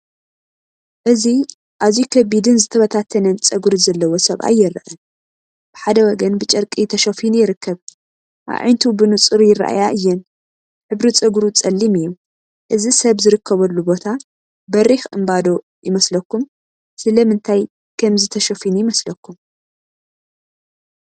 እዚ ኣዝዩ ከቢድን ዝተበታተነን ጸጉሪ ዘለዎ ሰብኣይ ይርአ። ብሓደ ወገን ብጨርቂ ተሸፊኑ ይርከብ። ኣዒንቱ ብንጹር ይረኣያ እየን። ሕብሪ ጸጉሩ ጸሊም እዩ። እዚ ሰብ ዝርከበሉ ቦታ በሪኽ እምባ ዶ ይመስለኩም? ስለምንታይ ከምዚ ተሸፊኑ ይመስለኩም? .